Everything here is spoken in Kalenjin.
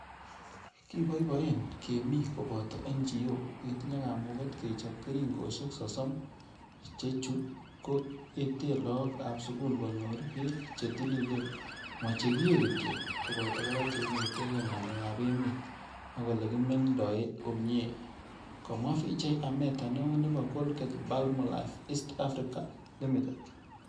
kipoipoen kemii kopoto NGO ketinye kamuget kechop keringoshek sosom che chu ko ete lagok ap sugul konyor pek che tililen ma chekiee kityo koboto kora che inetekei ngalek ap emet ak ole kimengdoi komyee." komwaa Vijay Ameta neo nebo Colgate-Palmolive East Africa Ltd.